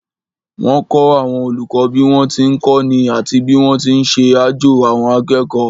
Wọ́n kọ́ àwọn olùkọ́ bí wọ́n ti ń kọ́ni àti bí wọ́n ti ń ṣe àjo àwọn akẹ́kọ̀ọ́